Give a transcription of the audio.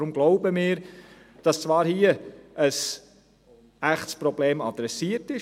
Deshalb glauben wir, dass hier zwar ein echtes Problem angesprochen wird;